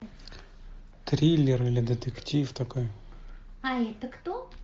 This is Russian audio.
триллер или детектив такой